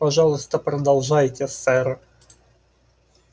пожалуйста продолжайте сэр